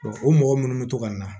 o mɔgɔ minnu bɛ to ka na